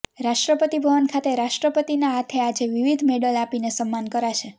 રાષ્ટ્રપતિ ભવન ખાતે રાષ્ટ્રપતિના હાથે આજે વિવિધ મેડલ આપીને સન્માન કરાશે